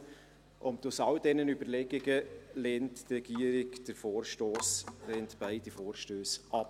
Aufgrund all dieser Überlegungen lehnt die Regierung beide Vorstösse ab.